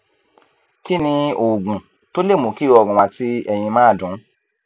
kí ni oògùn tó lè mú kí ọrùn àti ẹyìn máa dùn